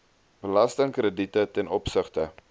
belastingkrediete ten opsigte